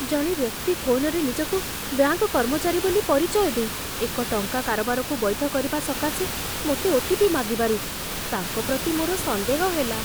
ଜଣେ ବ୍ୟକ୍ତି ଫୋନରେ ନିଜକୁ ବ୍ୟାଙ୍କ କର୍ମଚାରୀ ବୋଲି ପରିଚୟ ଦେଇ, ଏକ ଟଙ୍କା କାରବାରକୁ ବୈଧ କରିବା ସକାଶେ ମୋତେ ଓ.ଟି.ପି. ମାଗିବାରୁ, ତାଙ୍କ ପ୍ରତି ମୋର ସନ୍ଦେହ ହେଲା।